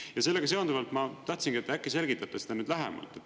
Ja sellega seonduvalt ma tahtsingi, et äkki selgitate seda nüüd lähemalt.